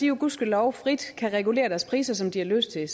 jo gudskelov frit kan regulere deres priser som de har lyst til